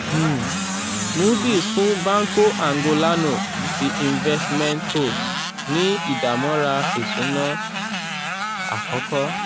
um moody's fún banco angolano de investimentos ní ìdámọ́ra ìsúná um àkọ́kọ́